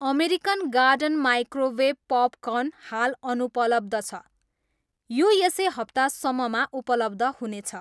American Garden microwave popcorn हाल अनुपलब्ध छ, यो यसै हप्ता सम्ममा उपलब्ध हुनेछ